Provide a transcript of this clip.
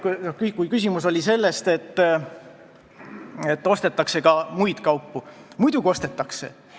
Kui küsimus oli selles, et ostetakse ka muid kaupu, siis muidugi ostetakse.